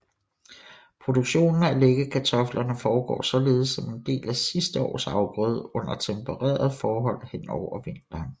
Produktionen af læggekartoflerne foregår således som en del af sidste års afgrøde under tempererede forhold henover vinteren